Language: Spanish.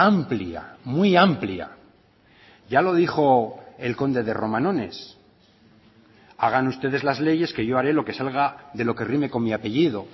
amplia muy amplia ya lo dijo el conde de romanones hagan ustedes las leyes que yo haré lo que salga de lo que rime con mi apellido